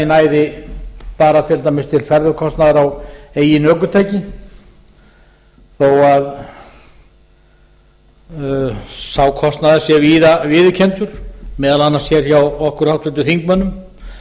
næði bara til dæmis til ferðakostnaðar á eigin ökutæki þó að sá kostnaður sé víða viðurkenndur meðal annars hér hjá okkur háttvirtum þingmönnum